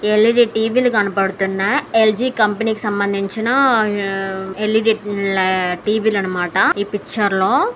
ఎల్_ఈ _D T V లు కనబడుతున్నాయి. L G company కి సంబంధించి ఎల్_ఈ _డి ల టీ_వీ లు అన్నమాట. ఈ పిక్చర్ లో--